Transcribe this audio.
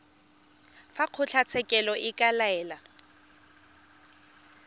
fa kgotlatshekelo e ka laela